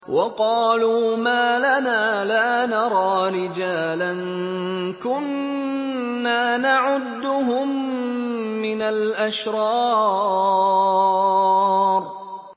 وَقَالُوا مَا لَنَا لَا نَرَىٰ رِجَالًا كُنَّا نَعُدُّهُم مِّنَ الْأَشْرَارِ